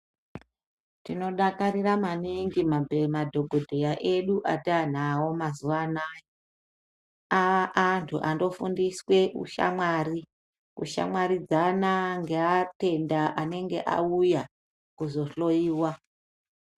Tinodakarira maningi madhokodheya edu atanawo mazuva anaya aantu anofundiswe hushamwari kushamwaridzana neatenda anenga auya kuzohloyiwa .